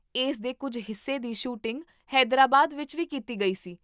ਇਸ ਦੇ ਕੁੱਝ ਹਿੱਸੇ ਦੀ ਸ਼ੂਟਿੰਗ ਹੈਦਰਾਬਾਦ ਵਿੱਚ ਵੀ ਕੀਤੀ ਗਈ ਸੀ